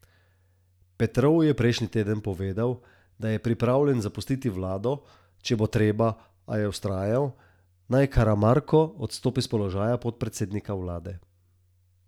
Petrov je prejšnji teden povedal, da je pripravljen zapustiti vlado, če bo treba, a je vztrajal, naj Karamarko odstopi s položaja podpredsednika vlade.